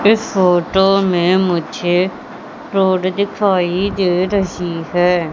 इस फोटो में मुझे रोड दिखाई दे रही है।